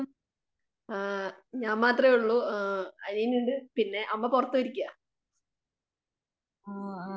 ആ ഞാൻ മാത്രേ ഉള്ളൂ ആ അനിയനുണ്ട്. അമ്മ പുറത്തുപോയിരിക്കുവാ.